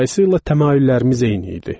Dolayısı ilə təmayüllərimiz eyni idi.